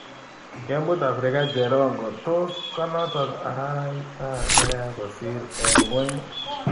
Kemut Africa Cherongo: Tos konotok araraita neya kosir eng ngweny?